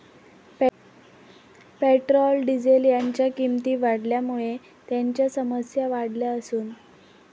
Petrol, diesel यांच्या किंमती वाढल्यामुळे त्यांच्या समस्या वाढल्या असून.